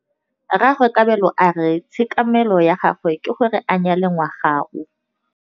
Rragwe Kabelo a re tshekamêlô ya gagwe ke gore a nyale ngwaga o.